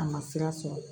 A ma sira sɔrɔ